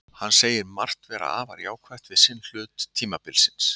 Hann segir margt vera afar jákvætt við seinni hluta tímabilsins.